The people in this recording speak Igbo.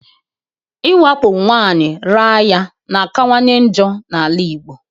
Iwakpo nwaanyị raa ya na akawanye njọ na-ala Igbo.